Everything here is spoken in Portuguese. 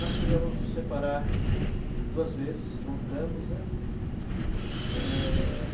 Nós chegamos a nos separar duas vezes, voltamos, né?